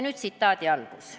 Nüüd tsitaat sellest kirjast.